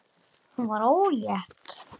Hún varð ólétt.